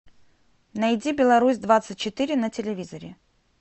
найди беларусь двадцать четыре на телевизоре